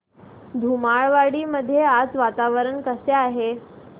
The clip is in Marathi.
धुमाळवाडी मध्ये आज वातावरण कसे आहे